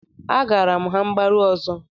Agaara m ha mgbaru ọzọ